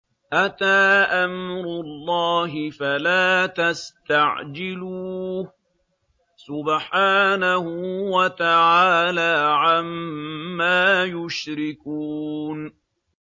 أَتَىٰ أَمْرُ اللَّهِ فَلَا تَسْتَعْجِلُوهُ ۚ سُبْحَانَهُ وَتَعَالَىٰ عَمَّا يُشْرِكُونَ